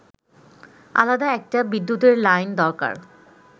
আলাদা একটা বিদ্যুতের লাইন দরকার